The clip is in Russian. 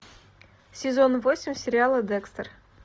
сезон восемь сериала декстер